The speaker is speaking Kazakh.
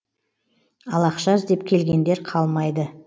ал ақша іздеп келгендер қалмайды